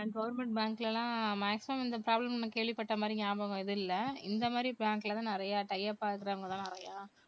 government bank ல எல்லாம் maximum எந்த problem மும் நான் கேள்விபட்ட மாதிரி ஞாபகம் எதுவும் இல்ல இந்த மாதிரி bank தான் நிறைய tie-up ஆ இருக்கிறவங்க தான் நிறைய